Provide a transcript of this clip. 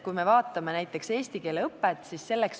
Vaatame näiteks eesti keele õpet.